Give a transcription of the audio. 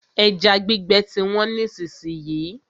Ẹja gbígbẹ ti wọ́n nísìsiyìí.